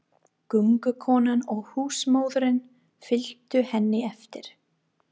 Göngukonan og húsmóðirin fylgdu henni eftir.